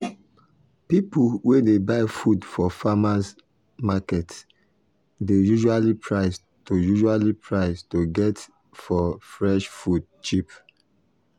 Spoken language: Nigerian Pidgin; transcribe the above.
people wey dey buy food for farmers' market dey usually price to usually price to get for fresh food cheap.